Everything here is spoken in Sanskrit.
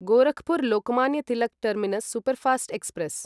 Gorakhpur Lokmanya Tilak terminus superfast express